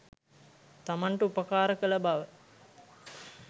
තමන්ට උපකාර කළ බව